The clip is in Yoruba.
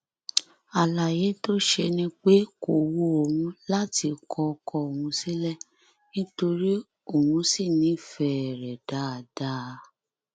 àlàyé tó ṣe ni pé kó wu òun láti kọ ọkọ òun sílẹ nítorí òun sì nífẹẹ rẹ dáadáa